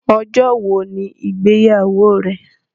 Ọjọ́ wọ̀ ni igbeyáwọ̀ rẹ̀?